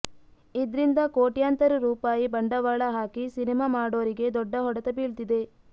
ಇದ್ರಿಂದ ಕೋಟ್ಯಾಂತರ ರೂಪಾಯಿ ಬಂಡವಾಳ ಹಾಕಿ ಸಿನಿಮಾ ಮಾಡೋರಿಗೆ ದೊಡ್ಡ ಹೊಡೆತ ಬೀಳ್ತಿದೆ